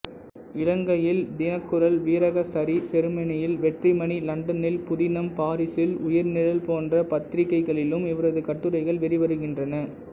இலங்கையில் தினக்குரல் வீரகேசரி செருமனியில் வெற்றிமணி லண்டனில் புதினம் பாரிசில் உயிர்நிழல் போன்ற பத்திரிகைகளிலும் இவரது கட்டுரைகள் வெளிவருகின்றன